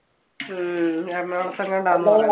ഹും എറണാകുളത്തെങ്ങാണ്ടും ആണെന്ന്